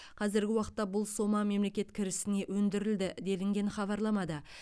қазіргі уақытта бұл сома мемлекет кірісіне өндірілді делінген хабарламада